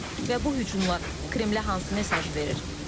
Və bu hücumlar Kremlə hansı mesajı verir?